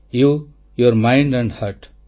you your mind and hurt